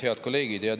Head kolleegid!